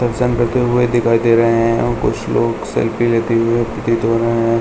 पहचान करते हुए दिखाई दे रहे है और कुछ लोग सेल्फी लेते हुए प्रतीत हो रहे है।